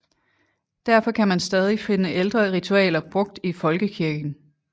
Derfor kan man stadig finde ældre ritualer brugt i folkekirken